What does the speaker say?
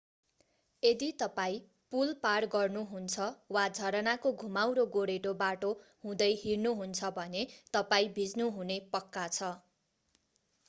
यदि तपाईं पुल पार गर्नुहुन्छ वा झरनाको घुमाउरो गोरेटो बाटो हुँदै हिँड्नुहुन्छ भने तपाईं भिज्नुहुने पक्का छ